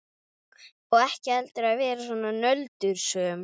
Og ekki heldur að vera svona nöldursöm.